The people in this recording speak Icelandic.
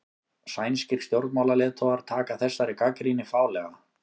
Sænskir stjórnmálaleiðtogar taka þessari gagnrýni fálega